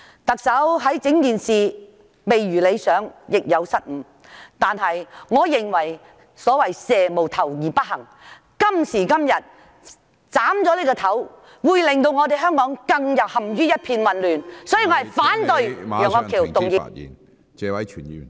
特首在整件事情上做得未如理想，亦有失誤，但我認為蛇無頭而不行，今天如果我們斬了這個頭，會令香港陷入更混亂的境況。